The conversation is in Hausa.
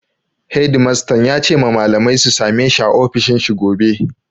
Hedimastan ya ce ma malamai su sameshi a ofishin shi gobe.